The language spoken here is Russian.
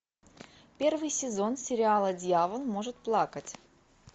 первый сезон сериала дьявол может плакать